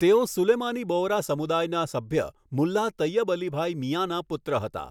તેઓ સુલેમાની બોહરા સમુદાયના સભ્ય મુલ્લાહ તૈયબઅલીભાઈ મિયાંના પુત્ર હતા.